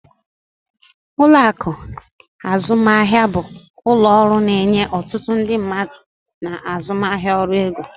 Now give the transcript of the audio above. Ụlọ akụ azụmaahịa bụ ụlọ ọrụ na-enye otutu ndị mmadụ na azụmaahịa ọrụ ego.